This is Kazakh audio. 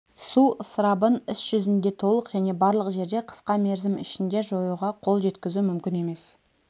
су ысырабын іс жүзінде толық және барлық жерде қысқа мерзім ішінде жоюға қол жеткізу мүмкін емес